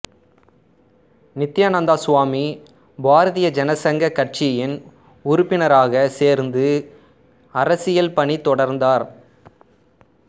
நித்தியானந்த சுவாமி பாரதிய ஜனசங்க கட்சியின் உறுப்பினராகச் சேர்ந்து அரசியல் பணி தொடர்ந்தார்